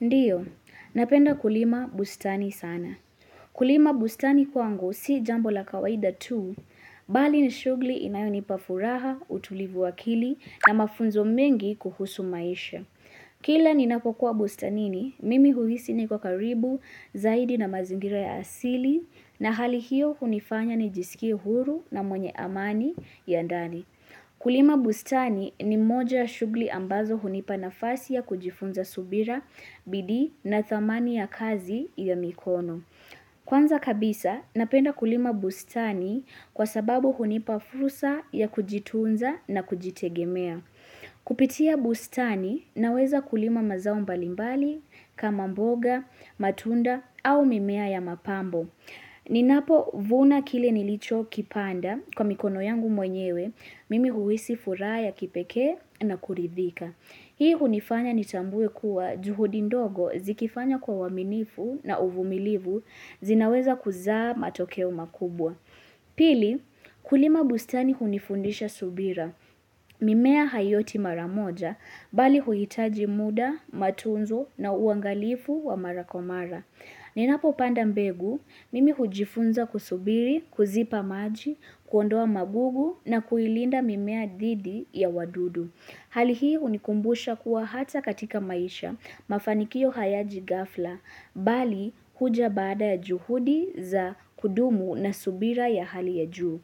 Ndio, napenda kulima bustani sana. Kulima bustani kwangu si jambo la kawaida tu, bali ni shughli inayonipa furaha, utulivu wakili, na mafunzo mengi kuhusu maisha. Kila ninapokuwa bustani ni, mimi huhisi niko karibu, zaidi na mazingira ya asili, na hali hiyo hunifanya nijisikie huru na mwenye amani ya ndani. Kulima bustani, ni moja ya shughli ambazo hunipa nafasi ya kujifunza subira, bidii na thamani ya kazi ya mikono. Kwanza kabisa, napenda kulima bustani kwa sababu hunipa fursa ya kujitunza na kujitegemea. Kupitia bustani, naweza kulima mazao mbalimbali, kama mboga, matunda au mimea ya mapambo. Ninapo vuna kile nilicho kipanda kwa mikono yangu mwenyewe, mimi huhisi furaha ya kipekee na kuridhika. Hii hunifanya nitambue kuwa juhudi ndogo, zikifanywa kwa uaminifu na uvumilivu zinaweza kuzaa matokeo makubwa. Pili, kulima bustani hunifundisha subira. Mimea haioti mara moja, bali huhitaji muda, matunzo na uangalifu wa mara kwa mara. Ninapo panda mbegu, mimi hujifunza kusubiri, kuzipa maji, kuondoa magugu na kuilinda mimea dhidi ya wadudu. Hali hii, hunikumbusha kuwa, hata katika maisha, mafanikio hayaji ghafla, bali huja baada ya juhudi za kudumu na subira ya hali ya juu.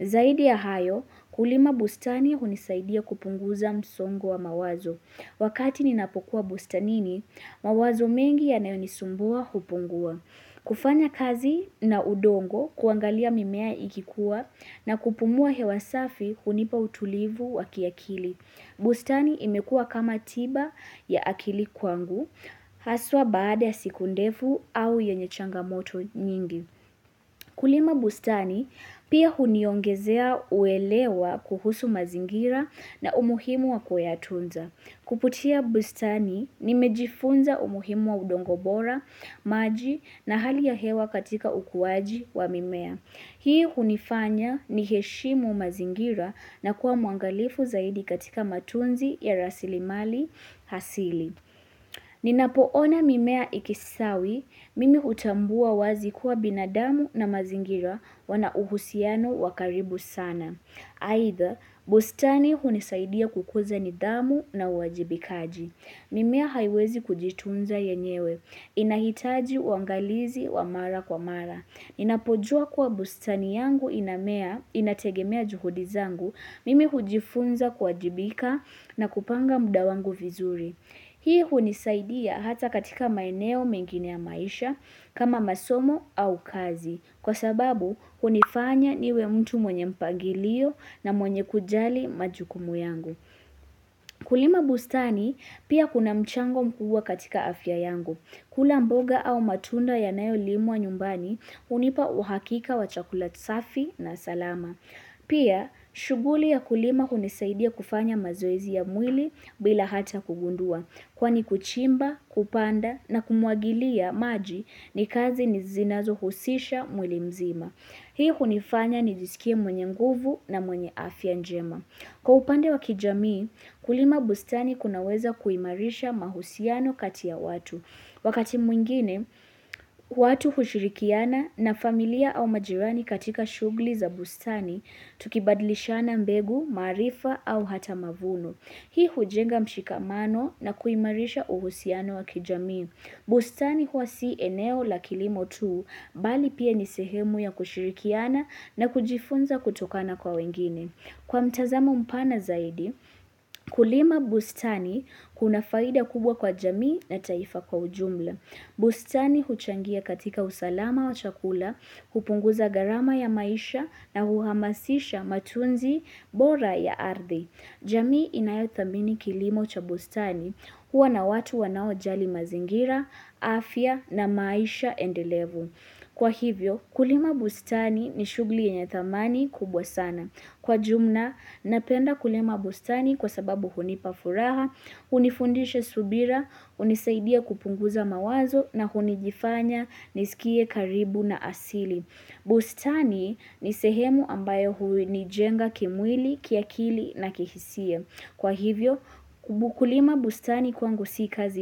Zaidi ya hayo, kulima bustani hunisaidia kupunguza msongo wa mawazo. Wakati ninapokuwa bustanini, mawazo mengi yanayonisumbua kupungua. Kufanya kazi na udongo, kuangalia mimea ikikua, na kupumua hewa safi hunipa utulivu wa kiakili. Bustani imekuwa kama tiba ya akili kwangu, haswa baada siku ndefu au yenye changamoto nyingi. Kulima bustani, pia huniongezea uelewa kuhusu mazingira na umuhimu wa kuyatunza. Kupitia bustani, nimejifunza umuhimu wa udongo bora, maji, na hali ya hewa katika ukuaji wa mimea. Hii hunifanya ni heshimu mazingira, na kuwa mwangalifu zaidi katika matunzi ya rasilimali hasili. Ninapoona mimea ikistawi, mimi hutambua wazi kuwa binadamu na mazingira wana uhusiano wa karibu sana. Aidha, bustani hunisaidia kukuza nidhamu na uajibikaji. Mimea haiwezi kujitunza yenyewe, inahitaji uangalizi wa mara kwa mara. Ninapojua kuwa bustani yangu inamea, inategemea juhudi zangu, mimi hujifunza kuajibika na kupanga muda wangu vizuri. Hii hunisaidia hata katika maeneo mengine ya maisha kama masomo au kazi. Kwa sababu, hunifanya niwe mtu mwenye mpangilio, na mwenye kujali majukumu yangu. Kulima bustani, pia kuna mchango mkubwa katika afya yangu. Kula mboga au matunda yanayolimwa nyumbani, hunipa uhakika wa chakula safi na salama. Pia, shughuli ya kulima hunisaidia kufanya mazoezi ya mwili, bila hata kugundua. Kwani kuchimba, kupanda, na kumwagilia maji ni kazi ni zinazohusisha mwili mzima. Hii hunifanya nijisikie mwenye nguvu, na mwenye afya njema. Kwa upande wa kijamii, kulima bustani kunaweza kuimarisha mahusiano kati ya watu. Wakati mwingine, watu hushirikiana na familia au majirani katika shughli za bustani, tukibadilishiana mbegu, maarifa au hata mavuno. Hii hujenga mshikamano na kuimarisha uhusiano wa kijamii. Bustani huwa si eneo la kilimo tu, bali pia ni sehemu ya kushirikiana, na kujifunza kutokana kwa wengine. Kwa mtazamo mpana zaidi, kulima bustani kuna faida kubwa kwa jamii na taifa kwa ujumla. Bustani huchangia katika usalama wa chakula, hupunguza gharama ya maisha na huhamasisha matunzi bora ya ardhi. Jamii inayo thamini kilimo cha bustani, huwa na watu wanaojali mazingira, afya na maisha endelevu. Kwa hivyo, kulima bustani ni shughli yenye thamani kubwa sana. Kwa jumna, napenda kulima bustani kwa sababu hunipa furaha, hunifundisha subira, hunisaidia kupunguza mawazo na hunijifanya nisikie karibu na asili. Bustani, ni sehemu ambayo huwe nijenga kimwili, kiakili na kihisia. Kwa hivyo, kubukulima bustani kwangu si kazi.